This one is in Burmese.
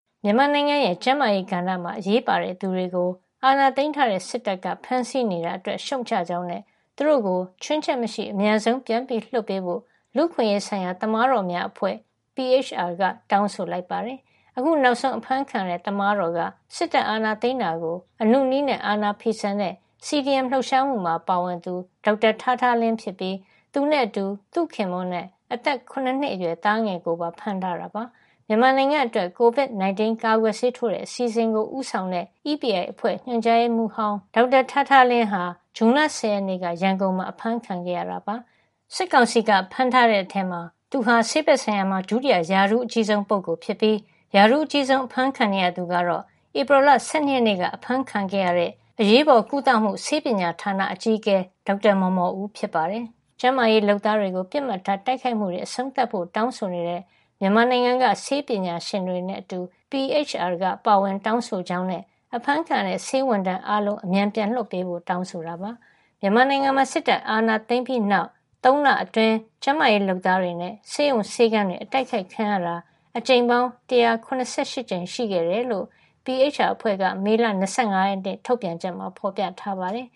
မြန်မာနိုင်ငံရဲ့ ကျန်းမာရေးကဏ္ဍမှာ အရေးပါတဲ့သူတွေကို အာဏာသိမ်းထားတဲ့ စစ်တပ်က ဖမ်းဆီးနေတာအတွက် ရှုတ်ချကြောင်းနဲ့ သူတို့ကို ချွင်းချက်မရှိ အမြန်ဆုံး ပြန်လွှတ်ပေးဖို့ လူ့အခွင့်ရေးဆိုင်ရာ သမားတော်များအဖွဲ့ (PHR) က တောင်းဆိုလိုက်ပါတယ်။ အခုနောက်ဆုံး အဖမ်းခံရတဲ့ သမားတော်က စစ်တပ်အာဏာသိမ်းတာကို အနုနည်းနဲ့ အာဏာဖီဆန်တဲ့ CDM လှုပ်ရှားမှုမှာ ပါဝင်သူ ဒေါက်တာထားထားလင်းဖြစ်ပြီး သူနဲ့အတူ သူ့ခင်ပွန်းနဲ့ အသက် ၇ နှစ်အရွယ် သားငယ်ကိုပါ ဖမ်းထားတာပါ။ မြန်မာနိုင်ငံအတွက် COVID-19 ကာကွယ်ဆေးထိုးတဲ့ အစီအစဉ်ကို ဦးဆောင်တဲ့ EPI အဖွဲ့ ညွှန်ကြားရေးမှူးဟောင်း ဒေါက်တာထားထားလင်းဟာ ဇွန်လ ၁၀ ရက်နေ့က ရန်ကုန်မှာ အဖမ်းခံခဲ့ရတာပါ။ စစ်ကောင်စီက ဖမ်းထားတဲ့ထဲမှာ သူဟာ ဆေးဘက်ဆိုင်ရာမှာ ဒုတိယ ရာထူးအကြီးဆုံးပုဂ္ဂိုလ်ဖြစ်ပြီး ရာထူးအကြီးဆုံး အဖမ်းခံနေရသူကတော့ ဧပြီလ ၁၂ ရက်နေ့က အဖမ်းခံရတဲ့ အရေးပေါ်ကုသမှု ဆေးပညာဌာန အကြီးအကဲ ဒေါက်တာမော်မော်ဦး ဖြစ်ပါတယ်။ ကျန်းမာရေးလုပ်သားတွေကို ပစ်မှတ်ထား တိုက်ခိုက်မှုတွေ အဆုံးသတ်ဖို့ တောင်းဆိုနေတဲ့ မြန်မာနိုင်ငံက ဆေးပညာရှင်တွေနဲ့အတူ PHR ကပါ ပါဝင်တောင်းဆိုကြောင်းနဲ့ အဖမ်းခံနေရတဲ့ ဆေးဝန်ထမ်းတွေ အားလုံးကို အမြန်ပြန်လွှတ်ပေးဖို့ပါ တောင်းဆိုခဲ့တာပါ။ မြန်မာနိုင်ငံမှာ စစ်တပ်အာဏာသိမ်းပြီးတဲ့နောက် ၃ လအတွင်း ကျန်းမာရေး လုပ်သားတွေနဲ့ ဆေးရုံဆေးခန်းတွေ အတိုက်ခိုက်ခံရတာ အကြိမ်ပေါင်း ၁၇၈ ကြိမ်ရှိခဲ့တယ်လို့ PHR အဖွဲ့က မေလ ၂၅ ရက်နေ့ ထုတ်ပြန်ချက်မှာ ဖော်ပြထားပါတယ်